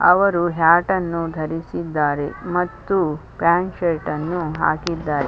ಅವರು ಹ್ಯಾಟ ನ್ನು ಧರಿಸಿದ್ದಾರೆ ಮತ್ತು ಪ್ಯಾಂಟ ಶರ್ಟ್‌ನ್ನು ಹಾಕಿದ್ದಾರೆ.